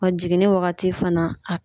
Wa jiginni wagati fana a